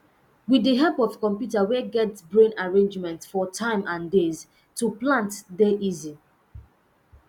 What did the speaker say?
with the help of computer wey get brain arrangements for tym n days to plant dey easy